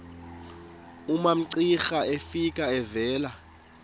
umamcira efika evela